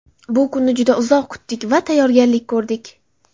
Bu kunni juda uzoq kutdik va tayyorgarlik ko‘rdik.